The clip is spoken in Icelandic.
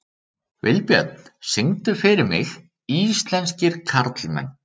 Vilbjörn, syngdu fyrir mig „Íslenskir karlmenn“.